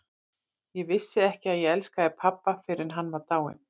Ég vissi ekki að ég elskaði pabba fyrr en hann var dáinn.